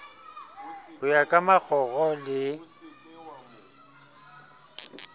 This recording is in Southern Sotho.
ho ya ka makgoro le